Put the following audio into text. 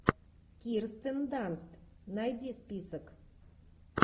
кирстен данст найди список